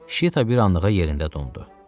Şita bir anlığa yerində dondu.